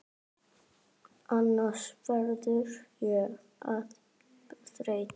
Annars verð ég of þreytt.